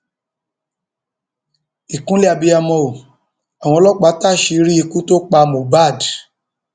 ìkúnlẹ abiyamọ ò àwọn ọlọpàá táṣìírí ikú tó pa mohbad